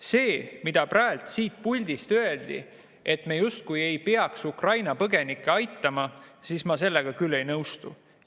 Sellega, mida praegu siit puldist öeldi, et me justkui ei peaks Ukraina põgenikke aitama, ma küll ei nõustu.